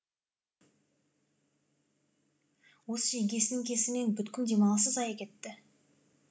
осы жеңгесінің кесірінен бүткіл демалысы зая кетті